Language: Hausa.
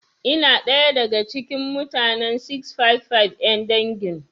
Ina daya da ga cikin mutane 655 'yan dangin.